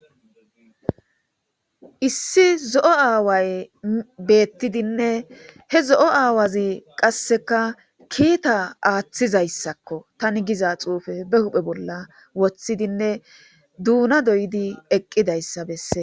issi zo'o aaway beettidinne he zo'o aawazi qasseka kiita aaththizayssakko. tani giza xuufe be huphe bolla woththidinne duuna doyidi eqqidayssa besses.